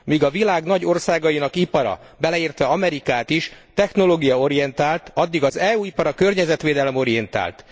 Míg a világ nagy országainak ipara, beleértve Amerikát is, technológiaorientált, addig az EU ipara környezetvédelem orientált.